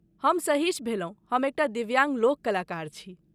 हम सहिश भेलहुँ, हम एकटा दिव्याङ्ग लोककलाकार छी।